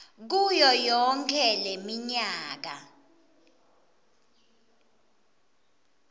kuyo yonkhe leminyaka